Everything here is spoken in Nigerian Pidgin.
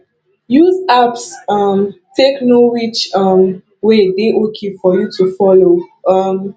use apps um take know which um way dey okay for you to follow um